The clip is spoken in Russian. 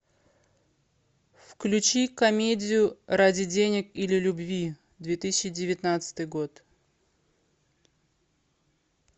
включи комедию ради денег или любви две тысячи девятнадцатый год